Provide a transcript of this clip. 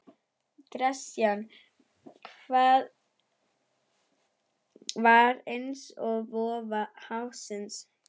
Gresjan var eins og vofa hafsins.